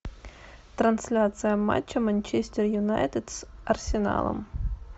трансляция матча манчестер юнайтед с арсеналом